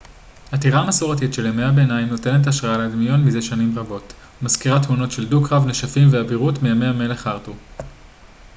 הטירה המסורתית של ימי הביניים נותנת השראה לדמיון מזה שנים רבות ומזכירה תמונות של דו-קרב נשפים ואבירות מימי המלך ארתור